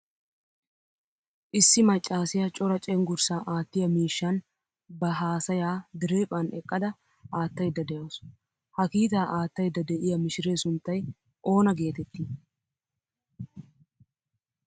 Issi maccasiyaa cora cenggurssa aattiyaa miishshan ba haasaya diriphphan eqqada aattayda deawusu. Ha kiitaa aattayda de'iyaa mishire sunttay oona geetetti?